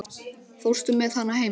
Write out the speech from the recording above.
Fórstu með hana heim?